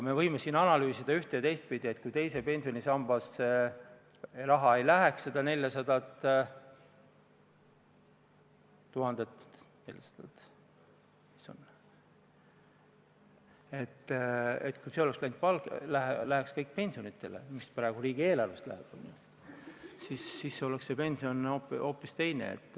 Me võime siin analüüsida üht- ja teistpidi, et kui teise pensionisambasse ei läheks seda 400 000 eurot, kui see läheks kõik pensionitele, mida riigieelarvest makstakse, siis oleks meie pension hoopis teine.